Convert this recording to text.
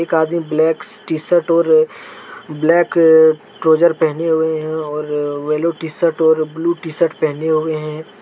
Black T shirt और black trouser पहने हुए हैं और वैल्यू टी शर्ट और ब्लू शर्ट पहने हुए हैं।